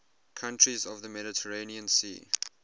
countries of the mediterranean sea